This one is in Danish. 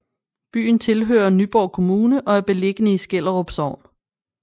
Byen tilhører Nyborg Kommune og er beliggende i Skellerup Sogn